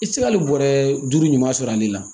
I tɛ se ka nin bɔrɛ duuru ɲuman sɔrɔ ale la